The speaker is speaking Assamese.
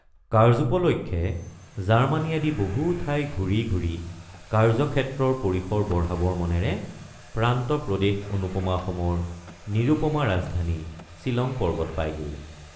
কাৰ্যোপলক্ষে জাৰ্মাণী আদি বহু ঠাই ঘূৰি ঘূৰি কাৰ্যক্ষেত্ৰৰ পৰিসৰ বঢ়াবৰ মনেৰে প্ৰান্ত প্ৰদেশ অনুপমা অসমৰ নিৰুপমা ৰাজধানী ছিলং পৰ্বত পায়গৈ।